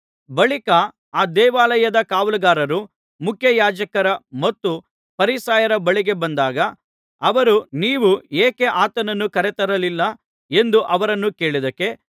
ಬಳಿಕ ಆ ದೇವಾಲಯದ ಕಾವಲುಗಾರರು ಮುಖ್ಯಯಾಜಕರ ಮತ್ತು ಫರಿಸಾಯರ ಬಳಿಗೆ ಬಂದಾಗ ಅವರು ನೀವು ಏಕೆ ಆತನನ್ನು ಕರೆತರಲಿಲ್ಲ ಎಂದು ಅವರನ್ನು ಕೇಳಿದ್ದಕ್ಕೆ